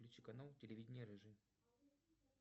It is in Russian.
включи канал телевидения рыжий